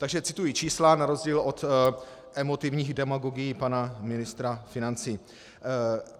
Takže cituji čísla na rozdíl od emotivních demagogií pana ministra financí.